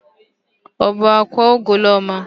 Ọ bụ akwa Ugoloọma?